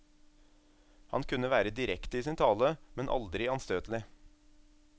Han kunne være direkte i sin tale, men aldri anstøtelig.